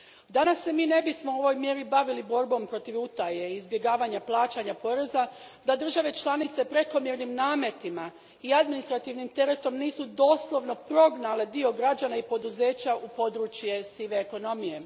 Danas se mi ne bismo u ovoj mjeri bavili borbom protiv utaje i izbjegavanja plaćanja poreza da države članice prekomjernim nametima i administrativnim teretom nisu doslovno prognale dio građana i poduzeća u područje sive ekonomije.